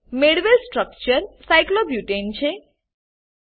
મેળવેલ સ્ટ્રક્ચર સાયક્લોબ્યુટાને સાઈક્લોબ્યુટેન છે